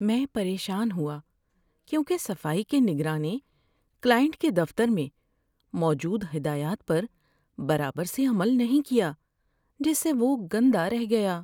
میں پریشان ہوا کیونکہ صفائی کے نگراں نے کلائنٹ کے دفتر میں موجود ہدایات پر برابر سے عمل نہیں کیا جس سے وہ گندا رہ گیا۔